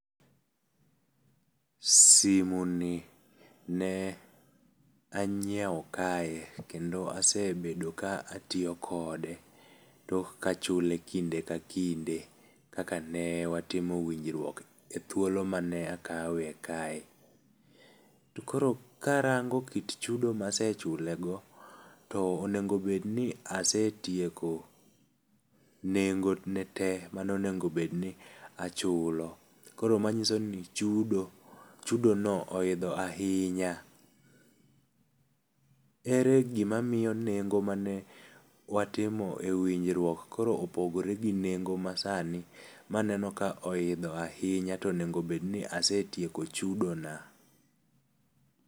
Simu ni ne anyiewo kae, kendo asebedo ka atiyo kode tok ka achule kinde ka kinde kaka ne watimo winjruok e thuolo mane akawe kae. To koro, karango kit chudo ma ase chule go, to onego bed ni asetieko nengo ne tee mane onego bed ni achulo. Koro manyiso ni chudo, chudo on oidho ahinya. Ere gima miyo nengo mane watimo e winjruok koro opogore gi nengo masani ma aneno ka oidho ahinya to onego bed ni asetieko chudo na.